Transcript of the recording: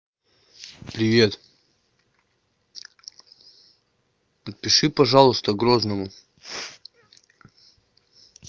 привет напиши пожалуйста грозному